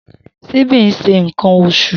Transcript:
Simbi nse nkan osu.